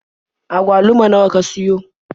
Agwaluma nawa ka siyo?